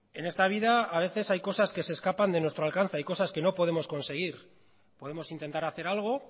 en esta vida a veces hay cosas que se escapan de nuestro alcance hay cosas que no podemos conseguir podemos intentar hacer algo